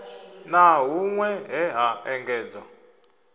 na hunwe he ha engedzwa